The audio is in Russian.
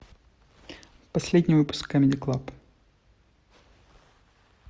последний выпуск камеди клаб